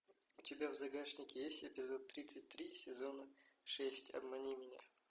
у тебя в загашнике есть эпизод тридцать три сезона шесть обмани меня